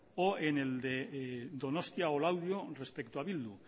o en el de donostia o laudio respecto a bildu